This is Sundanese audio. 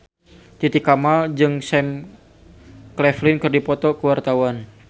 Titi Kamal jeung Sam Claflin keur dipoto ku wartawan